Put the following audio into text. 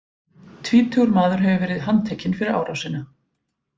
Tvítugur maður hefur verið handtekinn fyrir árásina.